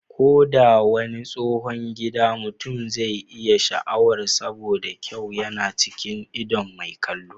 Ko da wani tsohon gida mutum zai iya sha'awar saboda kyau yana cikin idon mai kallo.